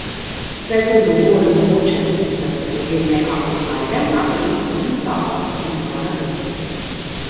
Saj sem dovolj močen, da se potem nekako znajdem, a tehnika ni taka, kot bi morala biti.